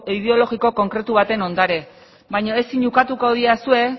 ideologiko konkretu baten ondare baina ezin ukatuko didazue